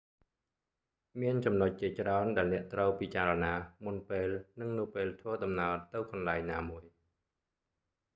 មានចំណុចជាច្រើន ដែលអ្នកត្រូវពិចារណា មុនពេល និងនៅពេលធ្វើដំណើរទៅកន្លែងណាមួយ